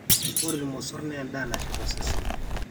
ore ilmosorr naa endaa nashet osesen